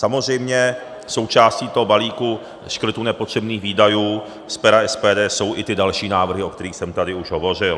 Samozřejmě součástí toho balíku škrtů nepotřebných výdajů z pera SPD jsou i ty další návrhy, o kterých jsem tady už hovořil.